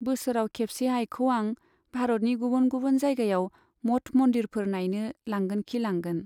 बोसोराव खेबसे आइखौ आं भारतनि गुबुन गुबुन जायगायाव मट मन्दिरफोर नाइनो लांगोनखि लांगोन।